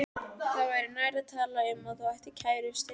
Það væri nær að tala um að þú ættir kærustu.